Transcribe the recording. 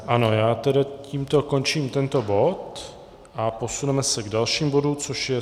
Ano, já tedy tímto končím tento bod a posuneme se k dalšímu bodu, což je